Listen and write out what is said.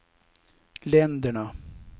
länderna